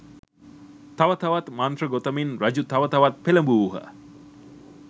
තව තවත් මන්ත්‍ර ගොතමින් රජු තව තවත් පෙළඹවූහ.